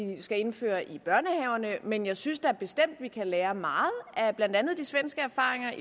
skal indføre i børnehaverne men jeg synes da bestemt at vi kan lære meget af blandt andet de svenske erfaringer